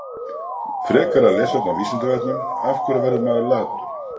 Frekara lesefni á Vísindavefnum: Af hverju verður maður latur?